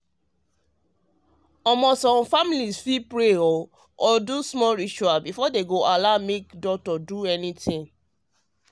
i mean um say some families families fit wan pray or do small rituals before dem allow make doctor do anything.